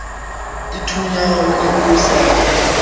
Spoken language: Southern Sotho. aithunya ho ne ho sa